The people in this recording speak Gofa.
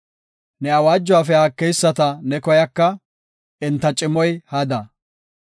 Ne awaajuwafe haakeyisata ne koyaka; enta cimoy hada.